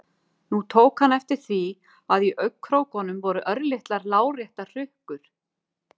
Nú tók hann eftir því að í augnkrókunum voru örlitlar láréttar hrukkur.